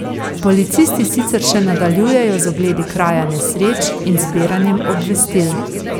Policisti sicer še nadaljujejo z ogledi kraja nesreč in zbiranjem obvestil.